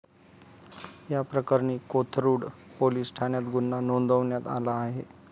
याप्रकरणी कोथरूड पोलीस ठाण्यात गुन्हा नोंदवण्यात आला आहे.